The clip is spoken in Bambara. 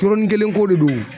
Yɔrɔnin kelen ko de don.